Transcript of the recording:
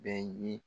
Bɛɛ ye